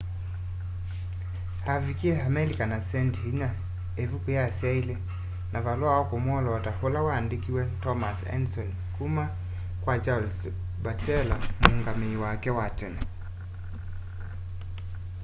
avikie amelika na sendi inya ivuku ya syaili na valua wa kumwoloota ula waandikiwe thomas edison kuma kwa charles batchelor muungamii wake wa tene